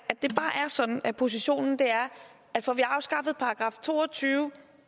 sådan at positionen er at får vi afskaffet § to og tyve